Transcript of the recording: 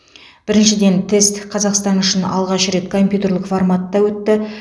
біріншіден тест қазақстан үшін алғаш рет компьютерлік форматта өтті